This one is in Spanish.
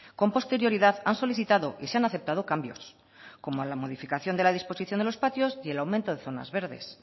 con posterioridad han solicitado y se han aceptado cambios como la modificación de la disposición de los patios y el aumento de zonas verdes